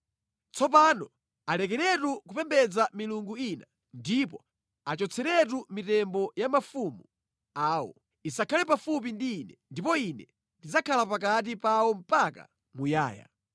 Tsopano alekeretu kupembedza milungu ina ndipo achotseretu mitembo ya mafumu awo, isakhale pafupi ndi Ine, ndipo Ine ndidzakhala pakati pawo mpaka muyaya.